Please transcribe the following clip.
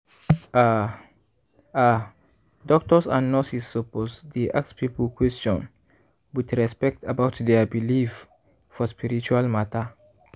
ah ah doctors and nurses suppose dey ask people question with respect about dia believe for spiritual matter.